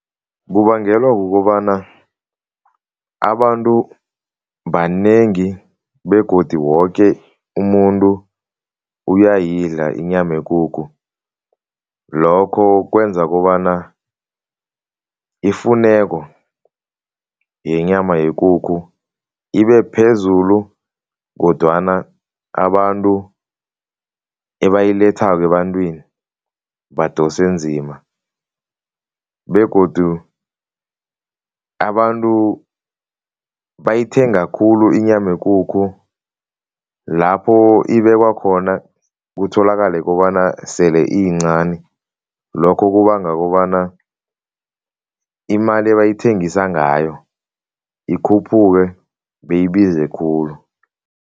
Kubangelwa kukobana abantu banengi begodi woke umuntu uyayidla inyama yekukhu. Lokho kwenza kobana ifuneko yenyama yekukhu ibephezulu kodwana abantu ebayilethako ebantwini badose nzima begodu abantu bayithenga khulu inyama yekukhu, lapho ibekwa khona kutholakale kobana sele iyincani. Lokho kubanga kobana imali ebayithengisa ngayo ikhuphuke, beyibize khulu.